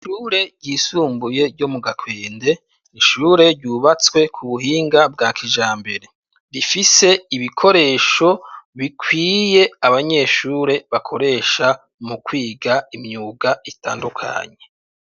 Ishure ryisumbuye yo mu gakwende, ishure ryubatswe ku buhinga bwa kijambere, bifise ibikoresho bikwiye abanyeshure bakoresha mu kwiga imyuga itandukanye.